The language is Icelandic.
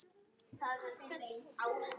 Hún er náskyld fýlnum.